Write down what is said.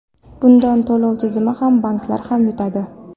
Bundan to‘lov tizimi ham, banklar ham yutadi.